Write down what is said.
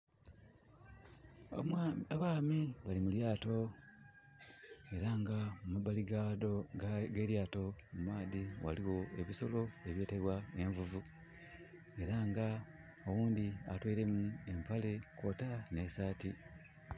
Abaami bali mu lyaato, era nga mu mabali ghaado, g'elyaato mu maadi, waliwo ebisolo ebyetebwa Envuvu. Era nga owundi atweilemu empale kwota n'esaati.